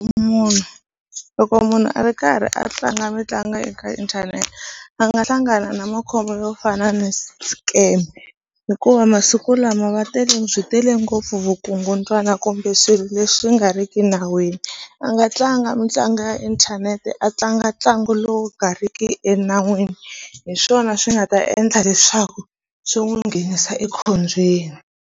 Munhu loko munhu a ri karhi a tlanga mitlangu eka inthanete a nga hlangana na makhombo yo fana ni scam hikuva masiku lama va tele byi tele ngopfu vukungundzwana kumbe kumbe swilo leswi nga ri ki nawini a nga tlanga mitlangu ya inthanete a tlanga ntlangu lowu nga riki enawini hi swona swi nga ta endla leswaku swi n'wi nghenisa ekhombyeni.